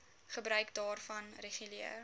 gebruik daarvan reguleer